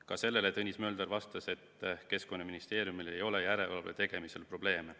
Ka sellele Tõnis Mölder vastas, et Keskkonnaministeeriumil ei ole järelevalve tegemisel probleeme.